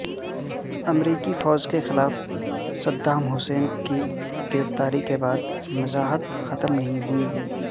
امریکی فوج کے خلاف صدام حسین کی گرفتاری کے بعد مزاحمت ختم نہیں ہوئی